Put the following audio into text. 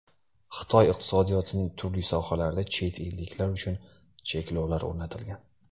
Xitoy iqtisodiyotining turli sohalarida chet elliklar uchun cheklovlar o‘rnatilgan.